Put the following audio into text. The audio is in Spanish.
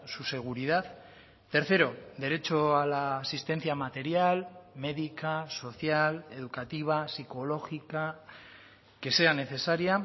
su seguridad tercero derecho a la asistencia material médica social educativa psicológica que sea necesaria